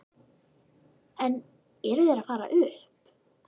En eru þeir að fara upp?